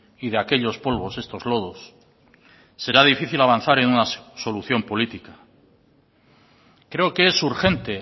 y de aquellos polvos estos lodos será difícil avanzar en una solución política creo que es urgente